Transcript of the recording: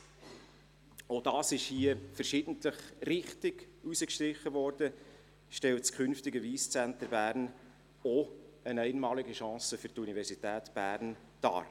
Zweitens – auch das wurde hier verschiedentlich richtig herausgestrichen – stellt das künftige Wyss Centre Bern auch eine einmalige Chance für die Universität Bern dar.